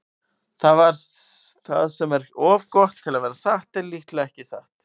Það sem er of gott til að vera satt er líklega ekki satt.